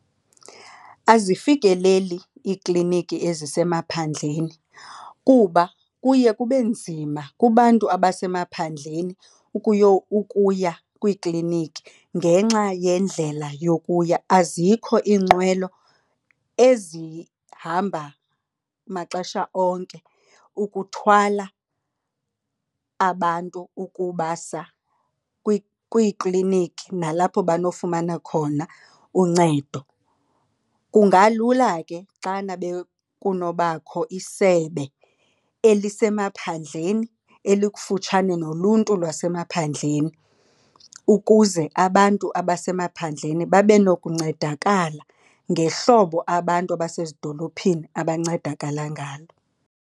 Azifikeleli iikliniki ezisemaphandleni kuba kuye kube nzima kubantu abasemaphandleni ukuya kwiikliniki ngenxa yendlela yokuya. Azikho iinqwelo ezihamba maxesha onke ukuthwala abantu ukubasa kwiikliniki nalapho banofumana khona uncedo. Kungalula ke xana kunobakho isebe elisemaphandleni elikufutshane noluntu lwasemaphandleni, ukuze abantu abasemaphandleni babe nokuncedakala ngehlobo abantu abasezidolophini abancedakala ngalo.